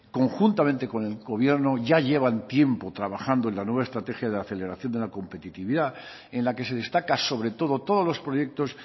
conjuntamente con el gobierno ya llevan tiempo trabajando en la nueva estrategia de aceleración de la competitividad en la que se destaca sobre todo todos los proyectos